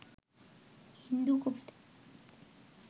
হিন্দু কবিদের